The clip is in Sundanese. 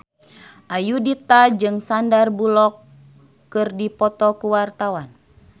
Ayudhita jeung Sandar Bullock keur dipoto ku wartawan